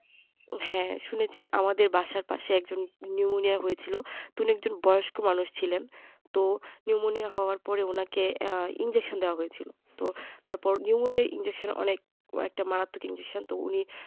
হ্যাঁ শুনেছি আমাদের বাসার এক জনের pneumonia হয়েছিল তো ওনি এক জন বয়েস্ক মানুষ ছিলেন তো pneumonia হওয়ার পরে ওনাকে আহ injection দেওয়া হয়েছিল তো তার পর pneumonia আর injection অনেক কই একটা মারাত্মক injection তো ওনি